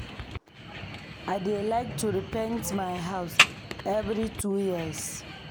I dey like to repaint my house every two years.